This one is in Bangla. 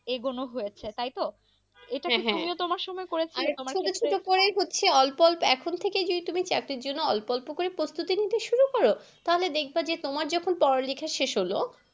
এগোনো হয়েছে তাই তো এটা তুমিও তোমার সময় করেছিলে, তুমি তো পরেই করছিলে হচ্ছে অল্প অল্প এখন থেকেই যদি চাকরির জন্য অল্প অল্প করে প্রস্তুতি নিতে শুরু করো। তাহলে দেখবে যে তোমার যখন পড়া লেখা শেষ হলো